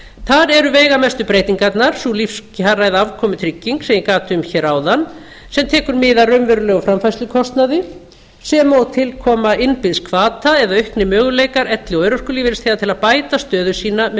þar eru veigamestu breytingarnar sú lífsafkomutrygging sem ég gat um áðan sem tekur mið af raunverulegum framfærslukostnaði sem og tilkoma innbyggðs hvata eða auknir möguleikar elli og örorkulífeyrisþega til að bæta stöðu sína með